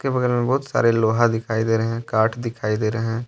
बगल में बहुत सारे लोहा दिखाई दे रहे हैं काट दिखाई दे रहे हैं।